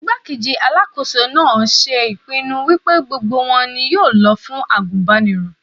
Igbá-kejì Alákóso náà ṣe ìpinnu wípé gbogbo wọn ni yóò lọ fún àgùnbánirọ̀.